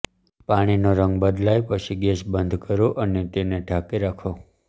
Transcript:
પાણીનો રંગ બદલાય પછી ગેસ બંધ કરો અને તેને ઢાંકી રાખો